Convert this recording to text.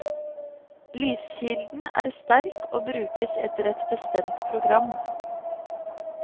Lyskilden er sterk og brukes etter et bestemt program.